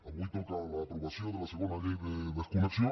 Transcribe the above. avui toca l’aprovació de la segona llei de desconnexió